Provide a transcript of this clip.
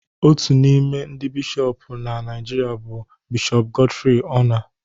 Otu n'ime ndị Bishọp na Naijiria bụ Bishọp Godfrey Onah